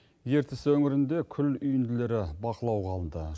ертіс өңірінде күл үйінділері бақылауға алынды